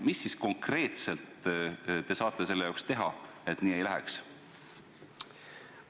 Mida te konkreetselt saate teha, et nii ei läheks?